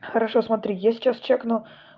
хорошо смотри я сейчас проверю